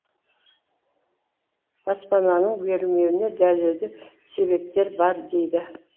баспананың берілмеуіне дәлелді себептер бар дейді